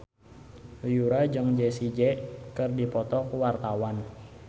Yura jeung Jessie J keur dipoto ku wartawan